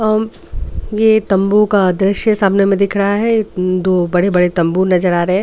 अ ये तम्बू का दृश्य सामने में दिख रहा है दो बड़े बड़े तम्बू नजर आ रहा है।